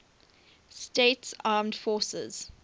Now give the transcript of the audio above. states armed forces